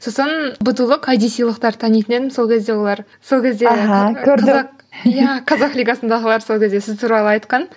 сосын танитын едім сол кезде олар сол кезде иә қазақ лигасындағылар сол кезде сіз туралы айтқан